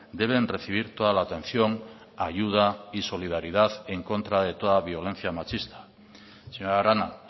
deben recibir toda la atención ayuda y solidaridad en contra de toda violencia machista señora arana